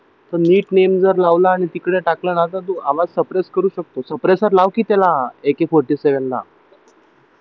तर नीट जर नेम लावला आणि तिकडे जर टाकलं ना तर तो आवाज सप्रेस करू शकतोस सप्रेस लाव कि त्याला AK forty seven ला